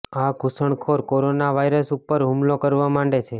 આ ઘૂસણખોર corona virus ઉપર હુમલો કરવા માંડે છે